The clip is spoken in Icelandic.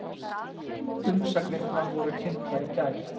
Umsagnirnar voru kynntar í gær